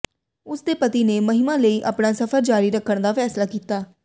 ਉਸ ਦੇ ਪਤੀ ਨੇ ਮਹਿਮਾ ਲਈ ਆਪਣਾ ਸਫ਼ਰ ਜਾਰੀ ਰੱਖਣ ਦਾ ਫੈਸਲਾ ਕੀਤਾ